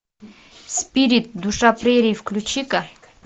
спирит душа прерий включи ка